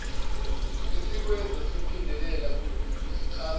esikwenza siphindelela kusichaza